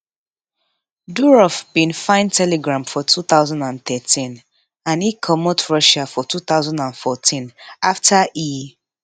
durov bin find telegram for two thousand and thirteen and e comot russia for two thousand and fourteen afta e